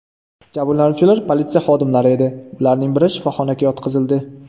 Jabrlanuvchilar politsiya xodimlari edi, ularning bari shifoxonaga yotqizildi.